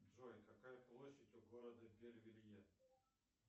джой какая площадь у города бель велье